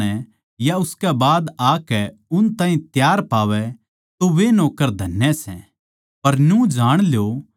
जै वो आध्धी रात नै या उसकै बाद आकै उन ताहीं तैयार पावै तो वे नौक्कर धन्य सै